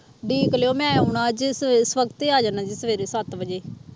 ਉਡੀਕ ਲਇਓ ਮੈਂ ਆਉਣਾ ਅੱਜ ਸ ਸਵੱਖਤੇ ਆ ਜਾਣਾ ਜੇ ਸਵੇਰੇ ਸੱਤ ਵਜੇ